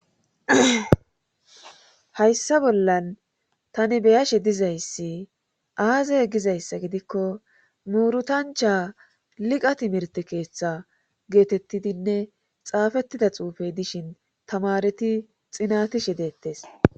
Hayssa bollan tani beyashe dizayssi aazey gizayssa gidikko muurutancha liqa timirt keeththa geetettidinne xaafettida xuufey dishin tamareti xinatishe deettes